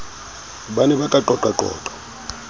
ba ne ba ka qoqaqoqa